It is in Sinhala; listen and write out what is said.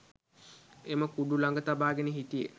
එම කුඩු ලඟ තබාගෙන හිටියේ